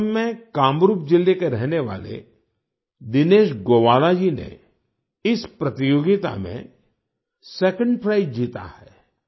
असम में कामरूप जिले के रहने वाले दिनेश गोवाला जी ने इस प्रतियोगिता में सेकंड प्राइज जीता है